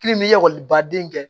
ekɔlibaden kɛ